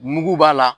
Mugu b'a la